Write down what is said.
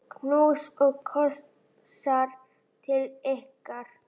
Knús og kossar til ykkar.